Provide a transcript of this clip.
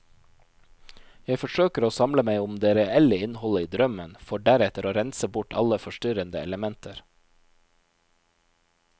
Jeg forsøker å samle meg om det reelle innholdet i drømmen, for deretter å rense bort alle forstyrrende elementer.